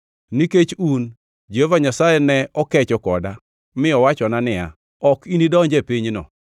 Nikech un, Jehova Nyasaye ne okecho koda mi owachona niya, “Ok inidonji e pinyno.”